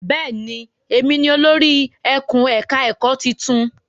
Bẹ́ẹ̀ ni, èmi ni olórí ẹkùn-ẹ̀ka-ẹ̀kọ́ tuntun.